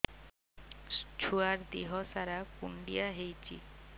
ଛୁଆର୍ ଦିହ ସାରା କୁଣ୍ଡିଆ ହେଇଚି